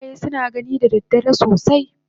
Kuraye suna gani da dare sosai